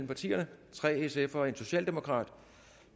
partierne tre sf’ere og en socialdemokrat